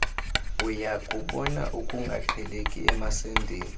uyakubona ukungaqheleki emasendeni